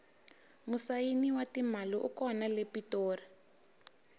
musayini wa timali u kona le pitori